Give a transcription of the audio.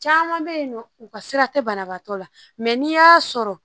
Caman bɛ yen nɔ u ka sira tɛ banabagatɔ la mɛ n'i y'a sɔrɔ